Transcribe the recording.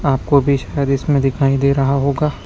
आपको भी शायद इसमें दिखाई दे रहा होगा।